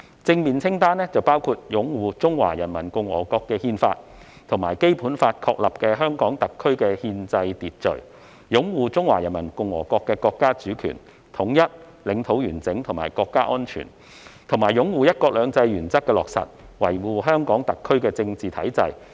正面清單包括"擁護《中華人民共和國憲法》及《基本法》確立的香港特別行政區的憲制秩序"；"擁護中華人民共和國國家主權、統一、領土完整和國家安全"，以及"擁護'一國兩制'原則的落實，維護香港特別行政區的政治體制"。